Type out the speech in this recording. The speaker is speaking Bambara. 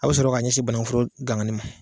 A bɛ sɔrɔ ka ɲɛsin banakuforo gangannen ma.